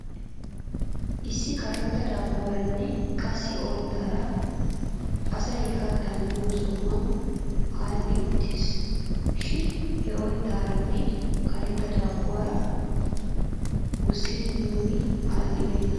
Issi karetta daabbuwaaranne qassi oyttaara asay kattaa miyoo sohuwan aadhdhi uttis. Shin he oyttaaranee karetta daabbuwaara usttidi miyoobay aadhdhibeena .